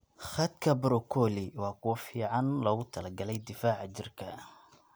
Khadka broccoli waa kuwo fiican loogu talagalay difaaca jirka.